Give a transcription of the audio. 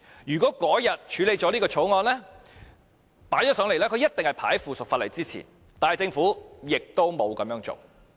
如果當天將這項條例草案提交上來，它必定是排在附屬法例之前，但政府亦沒有這樣做。